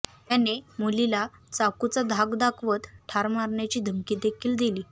त्याने मुलीला चाकूचा धाक दाखवत ठार मारण्याची धमकी देखील दिली